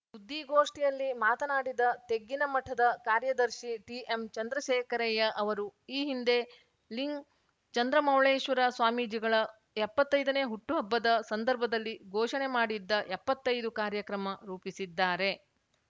ಸುದ್ದಿಗೋಷ್ಠಿಯಲ್ಲಿ ಮಾತನಾಡಿದ ತೆಗ್ಗಿನಮಠದ ಕಾರ್ಯದರ್ಶಿ ಟಿಎಂಚಂದ್ರಶೇಖರಯ್ಯ ಅವರು ಈ ಹಿಂದೆ ಲಿಂ ಚಂದ್ರಮೌಳೇಶ್ವರ ಸ್ವಾಮೀಜಿಗಳ ಎಪ್ಪತ್ತೈದನೇ ಹುಟ್ಟುಹಬ್ಬದ ಸಂದರ್ಭದಲ್ಲಿ ಘೋಷಣೆ ಮಾಡಿದ್ದ ಎಪ್ಪತ್ತೈದು ಕಾರ್ಯಕ್ರಮ ರೂಪಿಸಿದ್ದಾರೆ